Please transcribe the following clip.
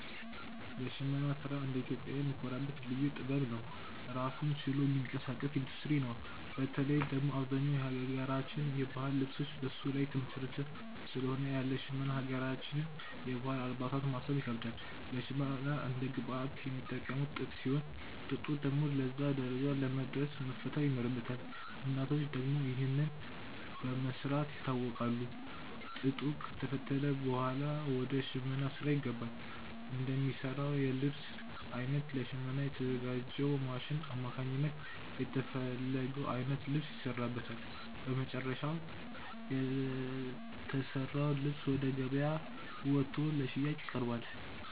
የሽመና ስራ እንደ ኢትዮጵያዊ የምንኮራበት ልዩ ጥበብ ነው። ራሱን ችሎ የሚንቀሳቀስ ኢንዱስትሪ ነው። በተለይ ደግሞ አብዛኛው የሀገራችን የባህል ልብሶች በሱ ላይ የተመሰረተ ስለሆነ ያለ ሽመና የሀገራችንን የባህል አልባሳት ማሰብ ይከብዳል። ለሽመና እንደ ግብአት የሚጠቀሙት ጥጥ ሲሆን፣ ጥጡ ደግሞ ለዛ ደረጃ ለመድረስ መፈተል ይኖርበታል። እናቶቻችን ደግሞ ይህንን በመስራት ይታወቃሉ። ጥጡ ከተፈተለ ብኋላ ወደ ሽመናው ስራ ይገባል። እንደሚሰራው የልብስ አይነት ለሽመና በተዘጋጅው ማሽን አማካኝነት የተፈለገው አይነት ልብስ ይሰራበታል። በመጨረሻም የተሰራው ልብስ ወደ ገበያ ወጥቶ ለሽያጭ ይቀርባል።